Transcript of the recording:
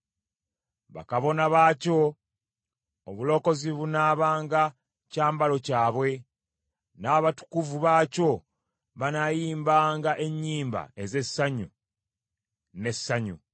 Bakabona baakyo, obulokozi bunaabanga kyambalo kyabwe; n’abatukuvu baakyo banaayimbanga ennyimba ez’essanyu n’essanyu.